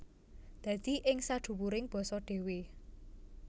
Dadi ing sadhuwuring basa dhéwé